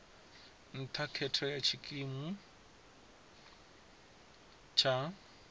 nṱha khetho ya tshikimu tsha